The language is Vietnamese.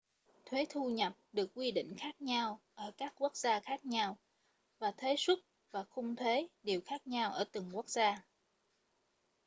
thuế thu nhập được quy định khác nhau ở các quốc gia khác nhau và thuế suất và khung thuế đều khác nhau ở từng quốc gia